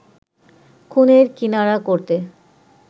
খুনের কিনারা করতে